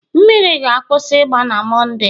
mmiri ga-akwụsị ịgba na Mọnde